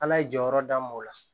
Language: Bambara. Ala ye jɔyɔrɔ d'a ma o la